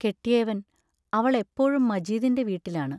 കെട്ടിയവൻ അവൾ എപ്പോഴും മജീദിന്റെ വീട്ടിലാണ്.